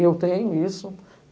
E eu tenho isso.